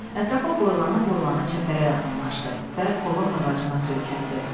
Ətrafa boylana-boylana çəpərə yaxınlaşdı və qovaq ağacına söykəndi.